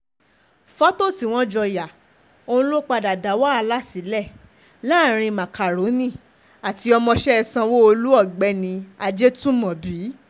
fọ́tò tí wọ́n jọ yá ọ̀hún ló padà dá wàhálà sílẹ̀ láàrin macaroni àti ọmọọṣẹ́ sanwó-olu ọ̀gbẹ́ni ajetunmobi